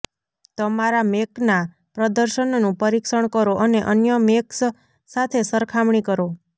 તમારા મેકના પ્રદર્શનનું પરીક્ષણ કરો અને અન્ય મેક્સ સાથે સરખામણી કરો